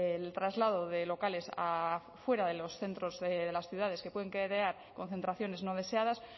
el traslado de locales a fuera de los centros de las ciudades que pueden crear concentraciones no deseadas